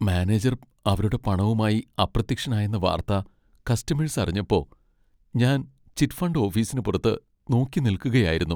Manager അവരുടെ പണവുമായി അപ്രത്യക്ഷനായെന്ന വാർത്ത കസ്റ്റമേഴ്സ് അറിഞ്ഞപ്പോ ഞാൻ ചിറ്റ് ഫണ്ട് ഓഫീസിന് പുറത്ത് നോക്കിനിൽക്കുകയായിരുന്നു.